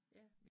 Ja